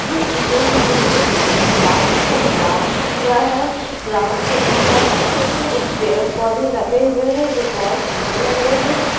यह इमेज में मुझे एक बहुत साफ़ सुथरा ग्राउंड दिख रहा है ग्राउंड के उस पार छोटे छोटे पेड़ पौधे लगे हुए है जो बहोत सुन्दर लग रे है ।